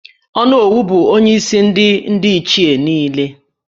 Onowu bụ onyeisi ndị Ndi Ichie niile